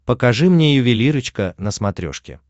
покажи мне ювелирочка на смотрешке